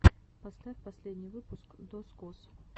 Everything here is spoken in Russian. поставь последний выпуск дозкоз